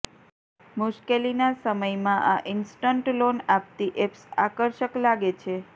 મુશ્કેલીના સમયમાં આ ઈન્સ્ટન્ટ લોન આપતી એપ્સ આકર્ષક લાગે છે